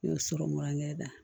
Ne y'o sɔrɔ mura